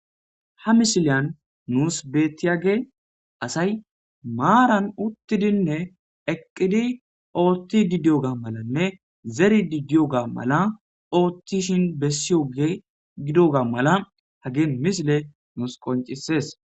Ha misiliyan nus betiyagey asay maran utidine eqidi othidi diyogane zeridi diyoga malatishe besiyoga hagey misiley nus qoncises